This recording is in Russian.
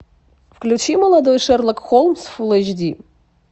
включи молодой шерлок холмс фулл эйч ди